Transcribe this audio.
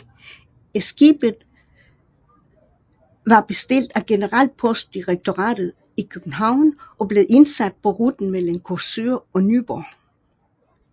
Skibet var bestilt af Generalpostdirektoratet i København og blev indsat på ruten mellem Korsør og Nyborg